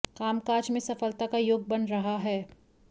कामकाज में सफलता का योग बन रहा है